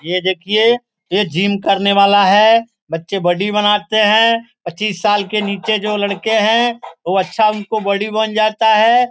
ये देखिए ये जिम करने वाला है बच्चे बॉडी बनाते हैं पच्चीस साल के नीचे जो लड़के हैं वो अच्छा उनका बॉडी बन जाता है।